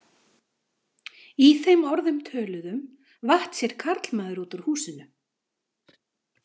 Í þeim orðum töluðum vatt sér karlmaður út úr húsinu.